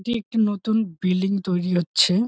এইটি একটি নতুন বিল্ডিং তৈরি হচ্ছে।